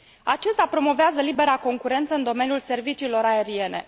Acesta promovează libera concurență în domeniul serviciilor aeriene.